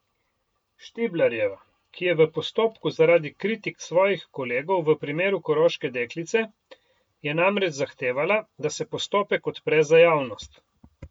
Štiblarjeva, ki je v postopku zaradi kritik svojih kolegov v primeru koroške deklice, je namreč zahtevala, da se postopek odpre za javnost.